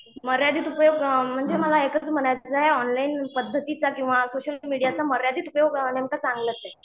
मर्यादित उपयोग म्हणजे मला एकच म्हणायच आहे, ऑनलाईन पद्धतीचा किंवा सोशल मीडियाचा मर्यादित उपयोग नेमकं चांगलंच आहे.